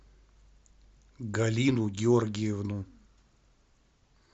галину георгиевну